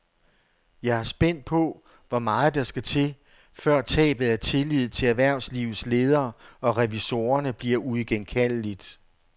Jeg er spændt på, hvor meget der skal til, før tabet af tillid til erhvervslivets ledere og revisorerne bliver uigenkaldeligt.